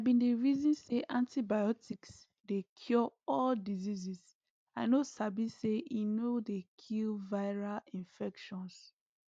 i been dey reason say antibiotics dey cure all dieases i no sabi say e no dey kill viral infections